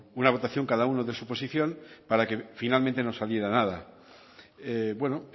una votación cada uno de su posición para que finalmente no saliera nada bueno